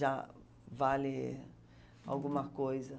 Já vale alguma coisa.